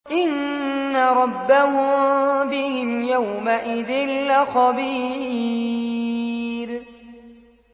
إِنَّ رَبَّهُم بِهِمْ يَوْمَئِذٍ لَّخَبِيرٌ